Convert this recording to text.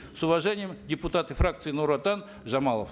с уважением депутаты фракции нур отан жамалов